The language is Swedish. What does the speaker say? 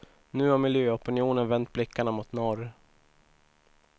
Nu har miljöopinionen vänt blickarna mot norr.